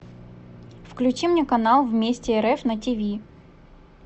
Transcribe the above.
включи мне канал вместе рф на тиви